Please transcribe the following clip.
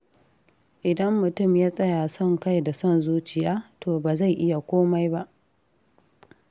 Idan mutum ya tsaya son kai da son zuciya, to ba zai iya komai ba.